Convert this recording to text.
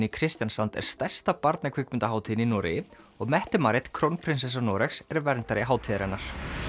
í Kristiansand er stærsta barnakvikmyndahátíðin í Noregi og Marit krónprinsessa Noregs er verndari hátíðarinnar